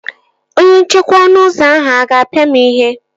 Onye nchekwa ọnụ ụzọ ahụ a ga-apia m ihe?